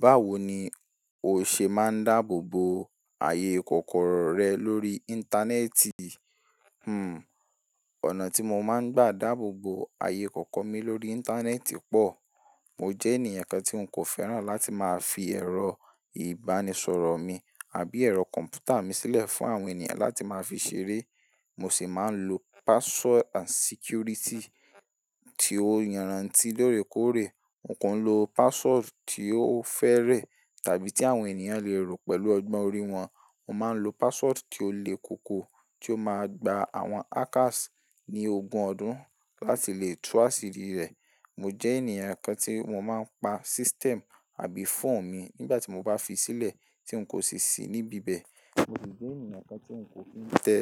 Báwo ni o ṣe máa ń dábò bo àyè kọ́kọ́rọ́ rẹ ní orí íntànẹ́ẹ̀tì. Hmmm, ọ̀nà tí mo máa ń gbà dáàbò bo ààyè kọ́kọ́ mi lórí íńtánẹ́ẹ̀tì pọ̀. Mo jẹ́ ènìyàn kan tí ń kò fẹ́ràn láti máa fi ẹ̀rọ ìbánisọ̀rọ̀ mi àbí ẹ̀rọ kọ̀m̀pútà mi sílẹ̀ fún àwọn ènìyàn láti máa fi ṣeré. Mo sì máa ń lo password and security tí ó yanraǹti lóòrèkóòrè. N kò lo password tí ó fẹ́rẹ, tàbí tí àwọn ènìyàn lè rò pẹ̀lú ọgbọ́n orí wọn. Mo máa ń lo password tí ó le kókó, tí ó má gba àwọn hackers ní ogún ọdún láti lè tú àṣírí rẹ̀. Mo jẹ́ ènìyàn kan tí mo máa ń pa system àbí phone mi nígbà tí mo bá fi sílẹ̀ tí ń kò sì sí níbí bẹ́ẹ̀. Mo sì jẹ́ ènìyàn kan tí ń kò tíì tẹ